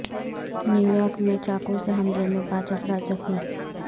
New York میں چاقو سے حملہ میں پانچ افراد زخمی